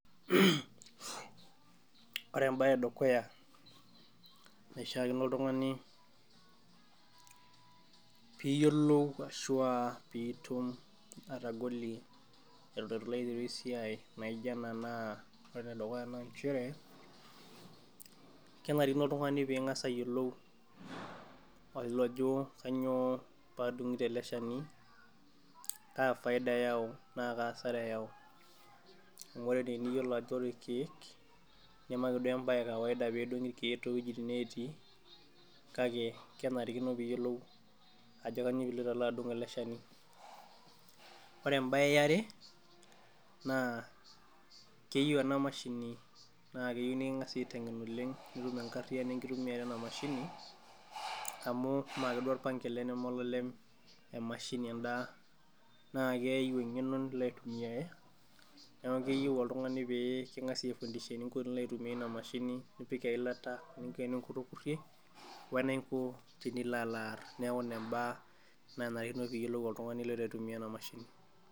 Ore embae edukuya naishakino oltungani piyiolou ashu pitum atagolie pilo aiteru esiai naijo ena na ore enedukuya na nchere kenarikino oltungani pilo ayiolou ajo kanyio padungito eleshani, na kanyio faida nakaa asara eyau amu ore teniyiolo irkiek namaeesiai ekawaida pedungi irkiek towuejitin natii kake kenarikino piyiolou ajo kanyio pidungito ele shani ,ore embae eare keyieu enamashini nikingasae aitengen oleng pitum enkariano enkitumiata enamashini amu maa duo orpang ele nama olalem emashini enda na keyieu engeno nilo aitumiare, neaku keyieu oltungani peyie kingasai aitengen enilo aiko pintumia enamashini nipik eilata niko teninkurukurie, eninko tenilo alo aar, neaku ina mbaa nanarikino piyiolo oltungani tenilo aitumia enamashini.